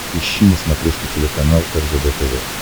ищи на смотрешке телеканал ржд тв